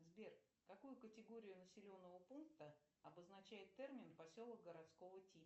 сбер какую категорию населенного пункта обозначает термин поселок городского типа